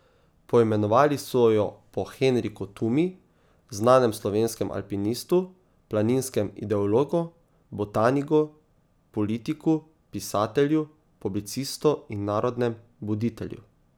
Poimenovali so jo po Henriku Tumi, znanem slovenskem alpinistu, planinskem ideologu, botaniku, politiku, pisatelju, publicistu in narodnem buditelju.